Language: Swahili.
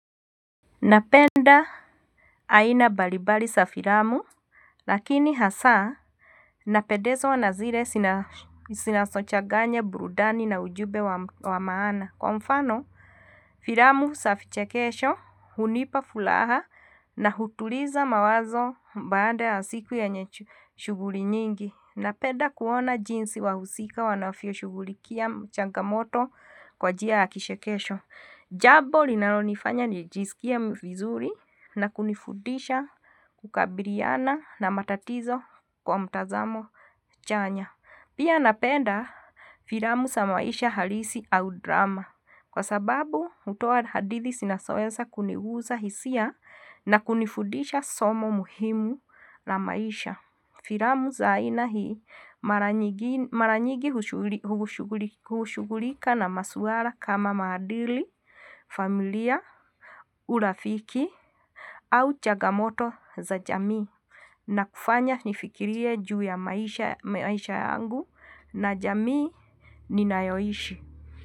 Napenda aina mbalimbali za filamu, lakini hasa napendezwa na zile zinazochaganya burudani na ujumbe wa maana. Kwa mfano, filamu za vichekesho, hunipa fulaha na hutuliza mawazo baada ya siku ya yenye shughuli nyingi. Napenda kuona jinsi wahusika wanavyo shughulikia changamoto kwa njia ya kichekesho. Jambo linalonifanya nijisikia vizuri na kunifudisha kukabiliana na matatizo kwa mtazamo chanya. Pia napenda filamu za maisha halisi au drama. Kwa sababu, hutoa hadithi zinazoweza kunigusa hisia na kunifundisha somo muhimu na maisha. Filamu za aina hii mara nyigi hushughulika na maswala kama maadili, familia, urafiki au chagamoto za jamii. Nakufanya nifikirie juu ya maisha yangu na jamii ninayoishi.